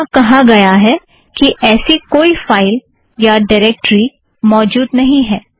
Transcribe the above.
यहाँ कहा गया है कि ऐसा कोई फ़ाइल या ड़िरेक्ट्री मौजूद नहीं है